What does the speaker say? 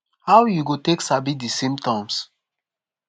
how you go take sabi di symptoms